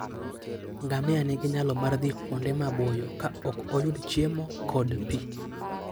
Ngamia nigi nyalo mar dhi kuonde maboyo ka ok oyud chiemo kod pi.